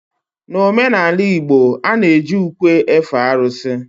n'omenala igbo, a na-eji ukwe efe arụsị